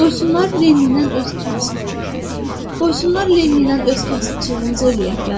Qoysunlar Leninlən öz kasıbçılığımıza eləyək də.